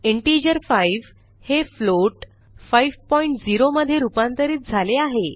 integer 5 हे float 50 मधे रूपांतरित झाले आहे